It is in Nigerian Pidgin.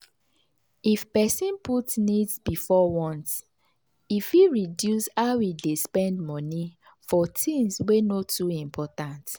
if person put needs before wants e fit reduce how e dey spend money for things wey no too important.